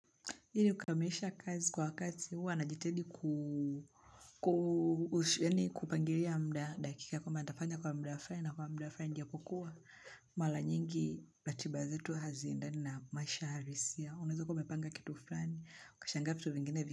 Hili kukamilisha kazi kwa wakati huwa najitahidi kupangilia muda dakika kwamba nitafanya kwa muda fulani na kwa muda fulani japokuwa Maea nyingi ratiba zetu haziendani na maisha halisia. Unaweza ukawa umepanga kitu fulani ukashangaa vitu vingine.